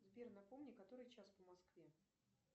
сбер напомни который час по москве